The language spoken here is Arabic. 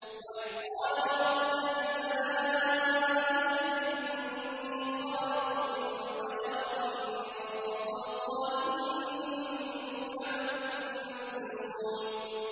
وَإِذْ قَالَ رَبُّكَ لِلْمَلَائِكَةِ إِنِّي خَالِقٌ بَشَرًا مِّن صَلْصَالٍ مِّنْ حَمَإٍ مَّسْنُونٍ